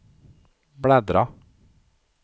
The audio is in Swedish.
bläddra